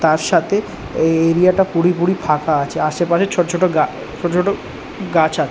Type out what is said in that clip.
তার সাথে এই এরিয়া টা পুরিপুরি ফাঁকা আছে। আশেপাশে ছোট ছোট গা ছোট ছোট গাছ আছে।